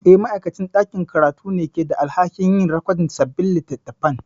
Eh, ma'aikacin ɗakin karatu ne ke da alhakin yin rikodin sabbin littattafan.